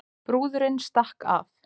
Brúðurin stakk af